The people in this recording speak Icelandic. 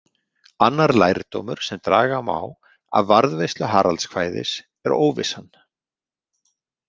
Annar lærdómur sem draga má af varðveislu Haraldskvæðis er óvissan.